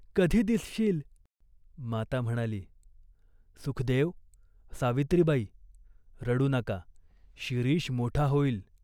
कधी दिसशील ?" माता म्हणाली "सुखदेव, सावित्रीबाई रडू नका.शिरीष मोठा होईल.